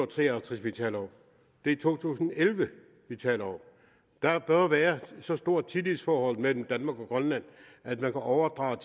tre og halvtreds vi taler om det er to tusind og elleve vi taler om der bør være så stort et tillidsforhold mellem danmark og grønland at man kan overdrage